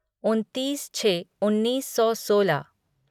उनतीस छः उन्नीस सौ सोलह